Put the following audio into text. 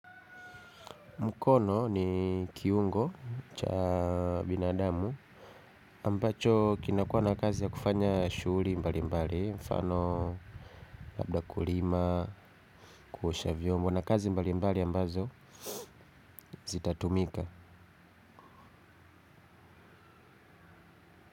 Mkono ni kiungo cha binadamu ambacho kinakua na kazi ya kufanya shughuli mbalimbali mfano labda kulima kuosha vyombo na kazi mbalimbali ambazo zitatumika.